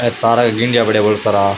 ये तारा का गिंडिया पड़ा है बोला सारा।